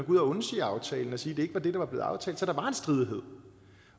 ud og undsige aftalen og sige at det ikke var det der var blevet aftalt så der